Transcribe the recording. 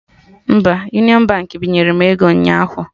Mba, Union Baankị binyere m ego ụnyaahụ